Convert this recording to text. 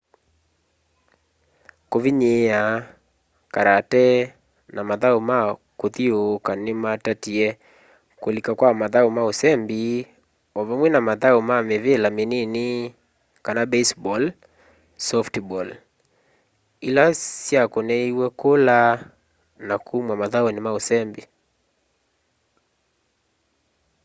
kũvĩnyĩĩa karate na mathaũ ma kũthĩũũkya nĩmatatĩe kũlĩka kwa mathaũ ma ũsembĩ ovamwe na mathaũ ma mĩvĩla mĩnĩnĩ baseball softball ĩla syakũnĩĩw'e kũla na kũmwa mathaũnĩ ma ũsembĩ